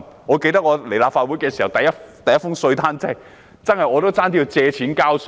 我記得，我加入立法會後收到的第一份稅單，差點要借錢交稅。